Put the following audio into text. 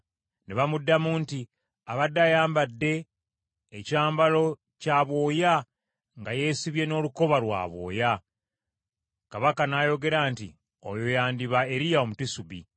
Ne bamuddamu nti, “Abadde ayambadde ekyambalo kya bwoya, nga yeesibye n’olukoba lwa bwoya.” Kabaka n’ayogera nti, “Oyo yandiba Eriya Omutisubi.”